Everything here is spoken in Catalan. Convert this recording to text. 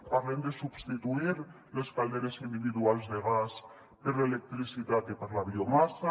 parlem de substituir les calderes individuals de gas per l’electricitat i per la biomassa